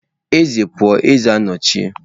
Eze pụọ, eze anochie.